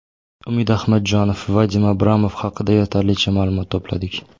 Umid Ahmadjonov: Vadim Abramov haqida yetarlicha ma’lumot to‘pladik.